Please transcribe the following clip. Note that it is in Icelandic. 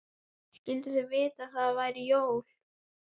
Skyldu þau vita að það eru jól?